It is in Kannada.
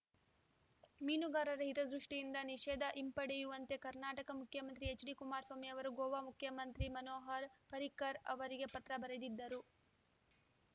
ಮೀನುಗಾರರ ಹಿತದೃಷ್ಟಿಯಿಂದ ನಿಷೇಧ ಹಿಂಪಡೆಯುವಂತೆ ಕರ್ನಾಟಕ ಮುಖ್ಯಮಂತ್ರಿ ಎಚ್‌ಡಿ ಕುಮಾರಸ್ವಾಮಿ ಅವರು ಗೋವಾ ಮುಖ್ಯಮಂತ್ರಿ ಮನೋಹರ್‌ ಪರ್ರಿಕರ್‌ ಅವರಿಗೆ ಪತ್ರ ಬರೆದಿದ್ದರು